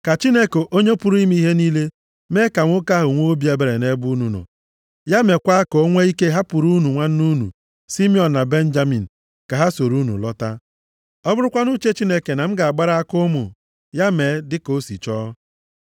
Ka Chineke Onye pụrụ ime ihe niile, mee ka nwoke ahụ nwee obi ebere nʼebe unu nọ. Ya meekwa ka o nwee ike ịhapụrụ unu nwanne unu Simiọn na Benjamin ka ha soro unu lọta. Ọ bụrụkwanụ uche Chineke na m ga-agbara aka ụmụ, ya mee dịka o si chọọ.”